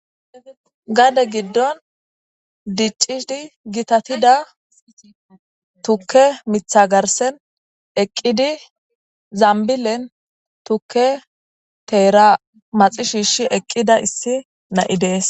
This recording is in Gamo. gaade giddon diccidi gitatida tukke mitha garsen eqqidi zambilen tukke teera maxi shiishi eqqida issi na7i dees